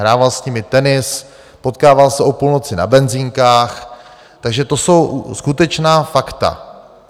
Hrával s nimi tenis, potkával se o půlnoci na benzinkách, takže to jsou skutečná fakta.